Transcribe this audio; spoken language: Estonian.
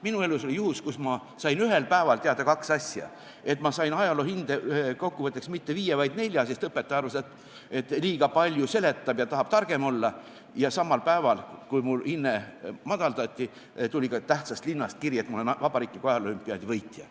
Minu elus oli juhtum, kui ma sain ühel päeval teada kaks asja: et ma sain ajaloo hinde kokkuvõtteks mitte viie, vaid nelja, sest õpetaja arvas, et liiga palju seletab ja tahab targem olla, ja samal päeval, kui mul hinne madaldati, tuli ka tähtsast linnast kiri, et ma olen vabariikliku ajaloo-olümpiaadi võitja.